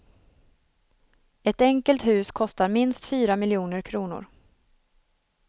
Ett enkelt hus kostar minst fyra miljoner kronor.